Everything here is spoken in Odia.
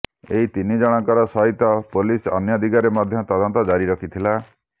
ଏହି ତିନି ଜଣଙ୍କର ସହିତ ପୋଲିସ ଅନ୍ୟ ଦିଗରେ ମଧ୍ୟ ତଦନ୍ତ ଜରିରଖିଥିଲା